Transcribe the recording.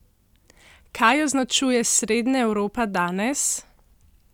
Kaj označuje Srednja Evropa danes?